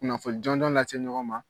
Kunnafoni jɔnjɔn lase ɲɔgɔn ma